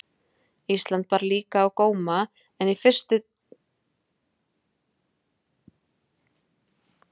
Ísland bar líka á góma- en í fyrstunni tóku þeir allir Ísland fyrir Írland eða